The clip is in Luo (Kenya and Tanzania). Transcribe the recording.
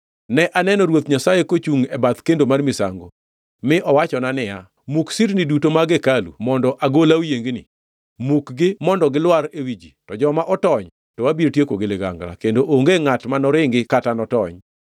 Ne aneno Ruoth Nyasaye kochungʼ e bath kendo mar misango, mi owachona niya, “Muk sirni duto mag hekalu mondo agola oyiengni. Mukgi mondo gilwar ewi ji, to joma otony, to abiro tieko gi ligangla, kendo onge ngʼat ma noringi kata notony.